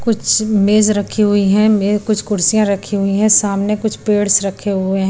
कुछ मेज रखी हुई हैं मे कुछ कुर्सियां रखी हुई हैं सामने कुछ पेड्स रखे हुए हैं।